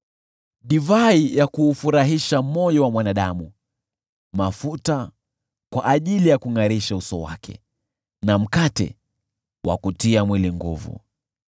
divai ya kuufurahisha moyo wa mwanadamu, mafuta kwa ajili ya kungʼarisha uso wake, na mkate wa kutia mwili nguvu.